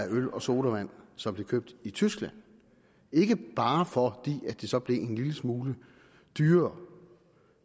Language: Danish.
øl og sodavand som blev købt i tyskland ikke bare fordi det så blev en lille smule dyrere